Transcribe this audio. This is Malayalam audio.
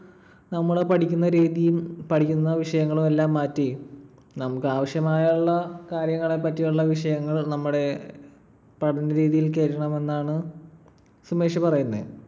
നമ്മൾ പഠിക്കുന്ന രീതിയും പഠിക്കുന്ന വിഷയങ്ങളും എല്ലാം മാറ്റി നമുക്കാവശ്യമായുള്ള കാര്യങ്ങളെ പറ്റിയുള്ള വിഷയങ്ങൾ നമ്മുടെ പഠനരീതിയിൽ കേറ്റണമെന്നാണ് സുമേഷ് പറയുന്നെ.